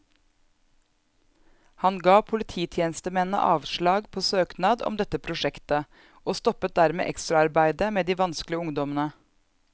Han ga polititjenestemennene avslag på søknad om dette prosjektet, og stoppet dermed ekstraarbeidet med de vanskelige ungdommene.